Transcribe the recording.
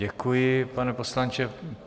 Děkuji, pane poslanče.